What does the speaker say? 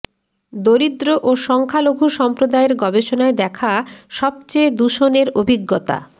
দরিদ্র ও সংখ্যালঘু সম্প্রদায়ের গবেষণায় দেখা সবচেয়ে দূষণের অভিজ্ঞতা